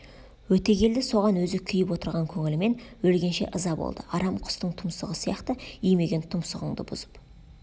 өтегелді соған өзі күйіп отырған көңілімен өлгенше ыза болды арам құстың тұмсығы сияқты имиген тұмсығыңды бұзып